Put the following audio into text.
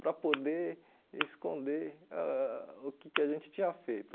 para poder esconder ãh o que que a gente tinha feito.